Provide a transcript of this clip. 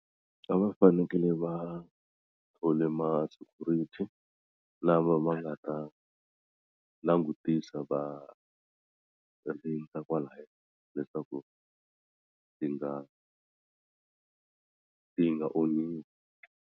A va fanekele va thole ma security lama va nga ta langutisa va rindza kwalaya leswaku ti nga ti nga onhiwi.